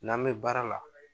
N'an bɛ baara la